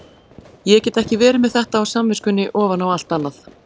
Ég get ekki verið með þetta á samviskunni ofan á allt annað.